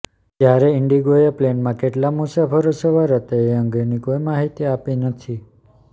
જ્યારે ઇન્ડિગોએ પ્લેનમાં કેટલા મુસાફરો સવાર હતા એ અંગેની કોઈ માહિતી આપી નથી